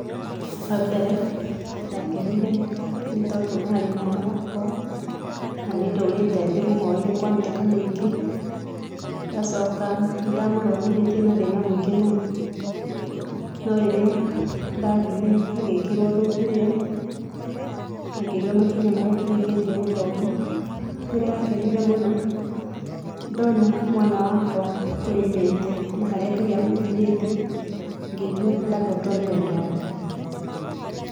Wa mbere ndiakenire tondũ atĩ mwana wakwa na nĩ ndũrĩte ndĩmũhoeire kwa mĩaka mĩingĩ ngacoka nĩ ndamũthomithĩtie na thĩna mĩingĩ mũno, no rĩrĩa ndathire agĩkĩrwo thũmbĩ ĩyo na ngĩigua makinya marĩa akinyũkithĩtie gũthoma nĩ ndakenire mũno ndona mwana wakwa kũrĩa aumĩte na harĩa Ngai amũkinyĩtie ngĩigua ndahotwo nĩ wendo wa Ngai.